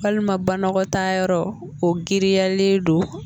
Walima banɔgɔtaa yɔrɔ o giriyalen don.